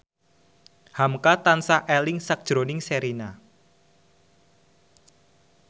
hamka tansah eling sakjroning Sherina